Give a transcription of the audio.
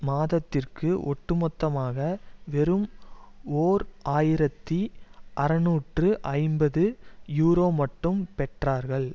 மாதத்திற்கு ஒட்டு மொத்தமாக வெறும் ஓர் ஆயிரத்தி அறுநூற்று ஐம்பது யூரோ மட்டும் பெற்றார்கள்